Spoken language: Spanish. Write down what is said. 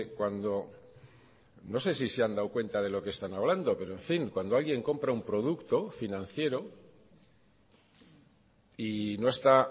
cuando no sé si se han dado cuenta de lo que están hablando pero en fin cuando alguien compra un producto financiero y no está